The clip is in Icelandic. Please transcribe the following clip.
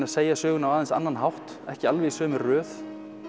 að segja söguna á aðeins annan hátt ekki alveg í sömu röð